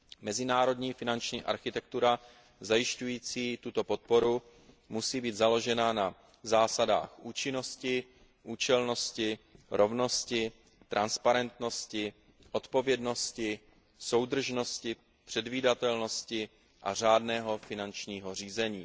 Mezinárodní finanční architektura zajišťující tuto podporu musí být založena na zásadách účinnosti, účelnosti, rovnosti, transparentnosti, odpovědnosti, soudržnosti, předvídatelnosti a řádného finančního řízení.